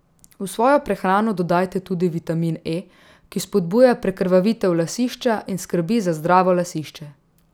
V svojo prehrano dodajte tudi vitamin E, ki spodbuja prekrvavitev lasišča in skrbi za zdravo lasišče.